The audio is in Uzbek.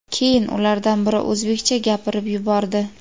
keyin ulardan biri o‘zbekcha gapirib yubordi.